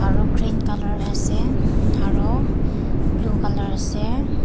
aro green colour ase aro blue colour ase.